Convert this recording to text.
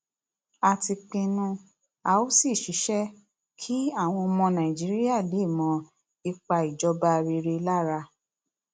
a ti pinnu a ó sì ṣiṣẹ kí àwọn ọmọ nàìjíríà lè mọ ipa ìjọba rere lára